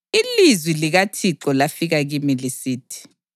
Ilizwi likaThixo lafika kimi lisithi: